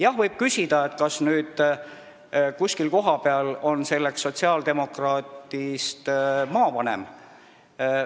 Jah, võib küsida, kas nüüd kuskil kohapeal on talituse juhiks sotsiaaldemokraadist maavanem.